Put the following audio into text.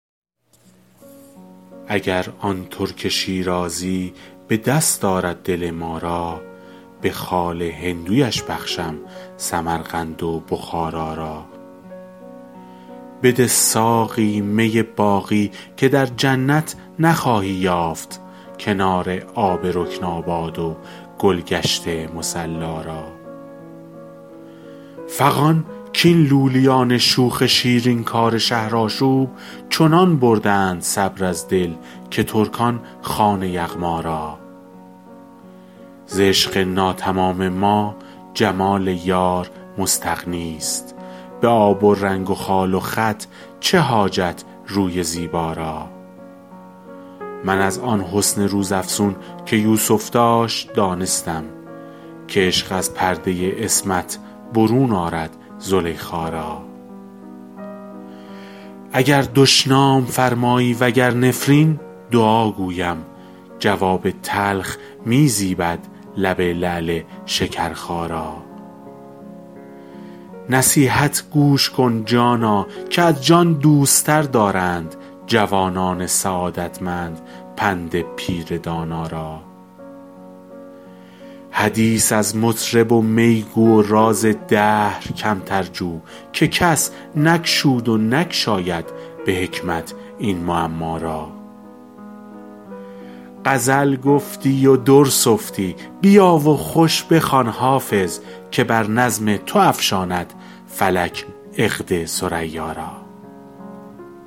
اگر آن ترک شیرازی به دست آرد دل ما را به خال هندویش بخشم سمرقند و بخارا را بده ساقی می باقی که در جنت نخواهی یافت کنار آب رکناباد و گل گشت مصلا را فغان کاین لولیان شوخ شیرین کار شهرآشوب چنان بردند صبر از دل که ترکان خوان یغما را ز عشق ناتمام ما جمال یار مستغنی است به آب و رنگ و خال و خط چه حاجت روی زیبا را من از آن حسن روزافزون که یوسف داشت دانستم که عشق از پرده عصمت برون آرد زلیخا را اگر دشنام فرمایی و گر نفرین دعا گویم جواب تلخ می زیبد لب لعل شکرخا را نصیحت گوش کن جانا که از جان دوست تر دارند جوانان سعادتمند پند پیر دانا را حدیث از مطرب و می گو و راز دهر کمتر جو که کس نگشود و نگشاید به حکمت این معما را غزل گفتی و در سفتی بیا و خوش بخوان حافظ که بر نظم تو افشاند فلک عقد ثریا را